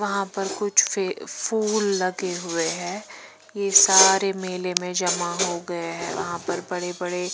वहां पर कुछ फूल लगे हुए हैं ये सारे मेले में जमा हो गए हैं वहां पर बड़े-बड़े।